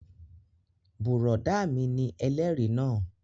Bùrọ̀dá mi ni ẹlẹ́rìí náà